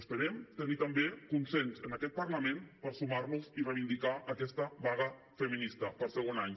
esperem tenir també consens en aquest parlament per sumar nos hi i reivindicar aquesta vaga feminista per segon any